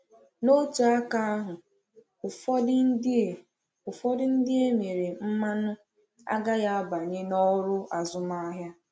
N’otu aka ahụ, ụfọdụ ndị e ụfọdụ ndị e mere mmanụ agaghị abanye n’ọrụ azụmahịa.